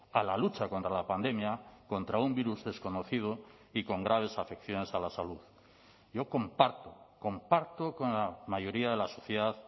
a la lucha contra la pandemia contra un virus desconocido y con graves afecciones a la salud yo comparto comparto con la mayoría de la sociedad